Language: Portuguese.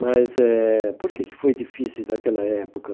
Mas eh por que que foi difícil naquela época?